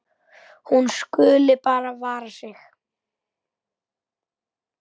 Hún skuli bara vara sig.